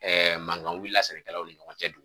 Ɛɛ mankan wulila sɛnɛkɛlaw ni ɲɔgɔn cɛ